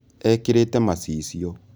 Ekĩrĩte macicio